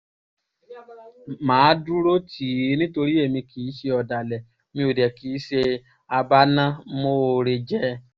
mà á dúró tì í nítorí èmi kì í ṣe ọ̀dàlẹ̀ mi ò dẹ̀ kì í ṣe abánámòore jẹ́